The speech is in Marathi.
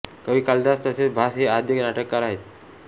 कवी कालिदास तसेच भास हे आद्य नाटककार आहेत